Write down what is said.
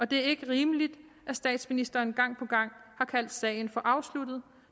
det er ikke rimeligt at statsministeren gang på gang har kaldt sagen afsluttet